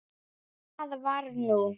Hvað var nú?